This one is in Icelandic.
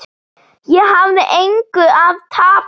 Ég hafði engu að tapa.